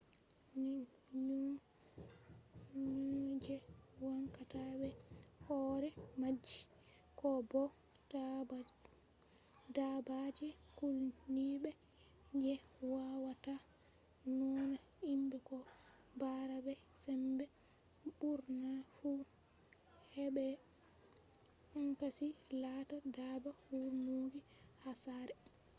nyau je wancata be hore maaji ko bo dabbaaje kulniiɓe je waawata nauna himɓe ko bara be sembe ɓurna fu heɓai cancanchi laata dabba wurnugo ha saare